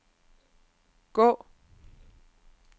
gå